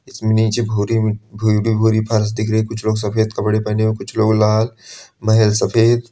इसमें नीचे भू भूरी फर्श दिख रही है कुछ लोग सफेद कपड़े पहने हुए हैं कुछ लोग लाल महल सफेद।